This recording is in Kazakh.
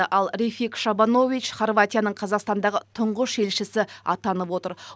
ал рефик шабанович хорватияның қазақстандағы тұңғыш елшісі атанып отыр